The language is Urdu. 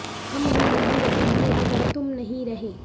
ہم بھی نہیں رہیں گے اگر تم نہیں رہے